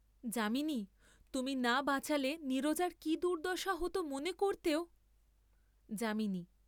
যামিনি, তুমি না বাঁচালে নীরজার কি দুর্দ্দশা হোত মনে করতেও, যা।